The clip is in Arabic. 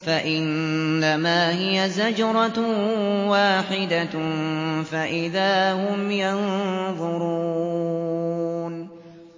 فَإِنَّمَا هِيَ زَجْرَةٌ وَاحِدَةٌ فَإِذَا هُمْ يَنظُرُونَ